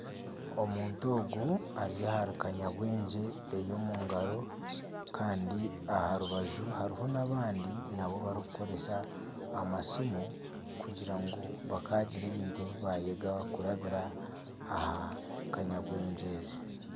Omuntu ogu ari ahari kanyabwengye kandi aha rubaju hariho n'abandi nabo barikukoresa amasiimu kugira ngu bakagira ebintu ebi bayega kurabira aha kanyabwegye ezi